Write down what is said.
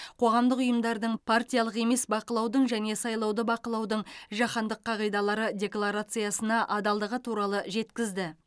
қоғамдық ұйымдардың партиялық емес бақылаудың және сайлауды бақылаудың жаһандық қағидалары декларациясына адалдығы туралы жеткізді